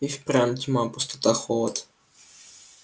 и впрямь тьма пустота холод